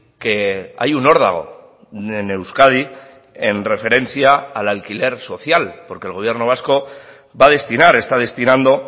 que hay un órdago en euskadi en referencia al alquiler social porque el gobierno vasco va a destinar está destinando